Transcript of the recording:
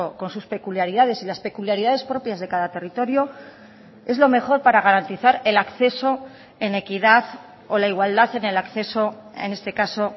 con sus peculiaridades y las peculiaridades propias de cada territorio es lo mejor para garantizar el acceso en equidad o la igualdad en el acceso en este caso